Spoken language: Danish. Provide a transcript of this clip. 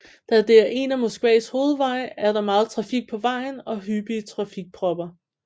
Da det er en af Moskvas hovedveje er der meget trafik på vejen og hyppige trafikpropper